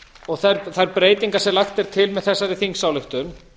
og þær breytingar sem lagt er til með þessari þingsályktun